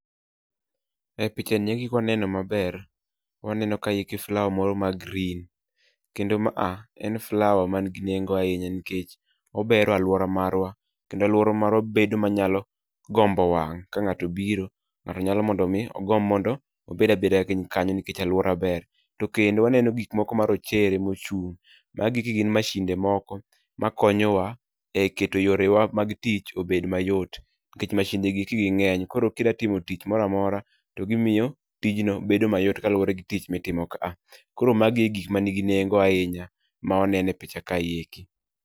E picha nieki kwa neno maber, waneno kaeki flower moro ma green. Kendo ma a, en flower man gi nengo ahinya nikech obero alwora marwa. Kendo alwora marwa bedo ma nyalo gombo wang', ka ng'ato obiro, ng'ato nyalo mondo mi ogomb mondo obed abeda piny kanyo nikech alwora ber. To kendo waneno gik moko marochere mochung', magi eki gin mashinde moko ma konyowa e keto yorewa mag tich obed mayot. Nikech mashinde gieki ging'eny, koro kidwa timo tich moro amora, to gimiyo tijno bedo mayot kaluwore gi tich mitimo ka a. Koro magi e gik manigi nengo ahinya, ma waneno e picha kae eki.